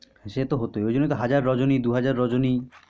সে তো হতই ওই জন্যই তো হাজার রজনী দুহাজার রজনী